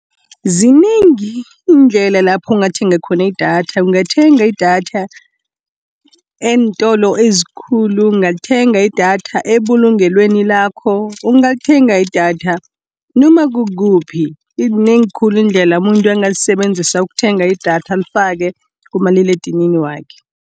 Zinengi iindlela lapho ungathenga khona idatha. Ungathenga idatha eentolo ezikulu, ungathenga idatha ebulungelweni lakho. Ungalithenga idatha noma kukuphi, zinengi khulu iindlela umuntu angazisebenzisa ukuthenga idatha alifake kumaliledinini wakhe.